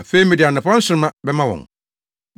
Afei, mede anɔpa nsoromma bɛma wɔn.